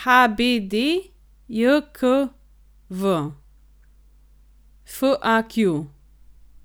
HBDJKV, FAQ.